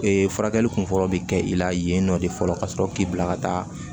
furakɛli kun fɔlɔ bi kɛ i la yen nɔ de fɔlɔ ka sɔrɔ k'i bila ka taa